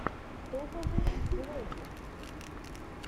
топовые влоги